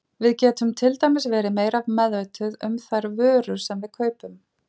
Við getum til dæmis verið meira meðvituð um þær vörur sem við kaupum.